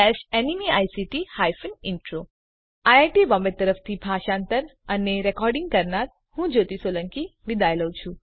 iit Bombay તરફથી spoken tutorial project માટે ભાષાંતર કરનાર હું જ્યોતી સોલંકી વિદાય લઉં છું